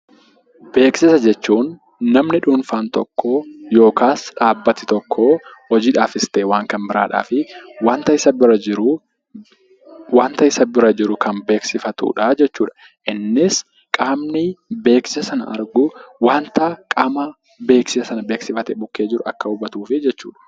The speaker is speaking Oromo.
Beeksisa jechuun namni dhuunfaan tokko yookaas dhaabbati tokko hojiidhaafis ta'ee waan biraaf wanta isa bira jiru kan beeksifatudha jechuudha. Innis qaamni beeksisa sana argu wanta qaama beeksisa beeksifate bukkee jiru akka hubatuufi jechuudha.